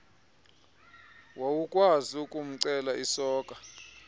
wawukwazi ukumcelela isoka